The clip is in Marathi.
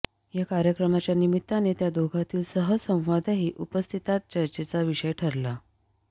या कार्यक्रमाच्या निमित्ताने त्या दोघांतील सहज संवादही उपस्थितांत चर्चेचा विषय ठरला